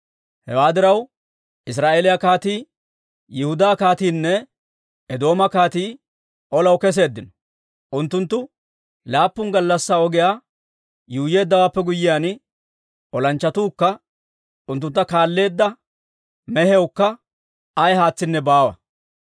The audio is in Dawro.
Hewaa diraw, Israa'eeliyaa kaatii, Yihudaa kaatiinne Eedooma kaatii olaw keseeddino. Unttunttu laappun gallassaa ogiyaa yuuyyeeddawaappe guyyiyaan, olanchchatookka unttuntta kaalleedda mehiyawukka ay haatsinne baawa.